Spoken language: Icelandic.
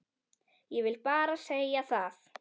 Ég vil bara segja það.